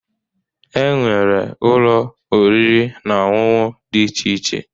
E nwere Ụlọ oriri na ọṅụṅụ dị iche iche.